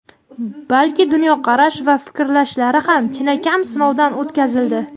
balki dunyoqarash va fikrlashlari ham chinakam sinovdan o‘tkazildi.